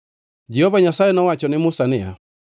Jehova Nyasaye nowacho ne Musa niya,